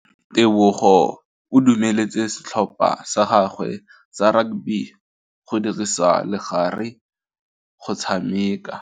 Tebogô o dumeletse setlhopha sa gagwe sa rakabi go dirisa le galê go tshameka.